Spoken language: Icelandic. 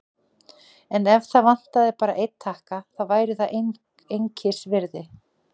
En ef það vantaði bara einn takka, þá væri það einskisvirði.